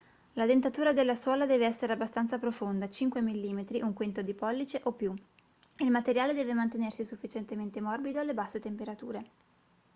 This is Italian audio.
la dentatura della suola deve essere abbastanza profonda 5 mm 1/5 di pollice o più e il materiale deve mantenersi sufficientemente morbido alle basse temperature